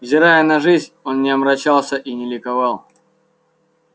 взирая на жизнь он не омрачался и не ликовал